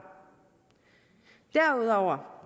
derudover